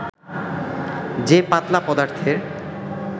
যে পাতলা পদার্থের